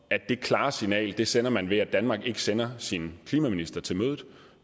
det klare signal sender man ved at danmark ikke sender sin klimaminister til mødet